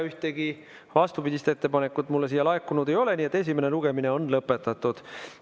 Ühtegi vastupidist ettepanekut mulle laekunud ei ole, nii et esimene lugemine on lõpetatud.